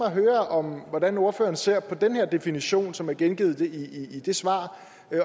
at høre hvordan ordføreren ser på den her definition som er gengivet i det svar